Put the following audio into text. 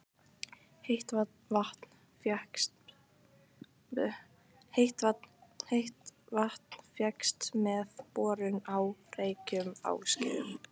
Heitt vatn fékkst með borun á Reykjum á Skeiðum.